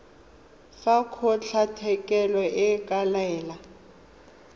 fa kgotlatshekelo e ka laela